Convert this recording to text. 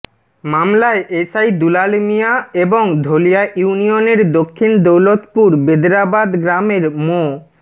মামলায় এসআই দুলাল মিয়া এবং ধলিয়া ইউনিয়নের দক্ষিণ দৌলতপুর বেদরাবাদ গ্রামের মো